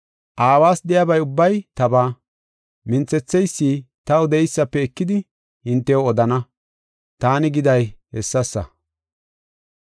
Aawas de7iyaba ubbay tabaa; ‘Minthetheysi taw de7eysafe ekidi hintew odana’ taani giday hessasa.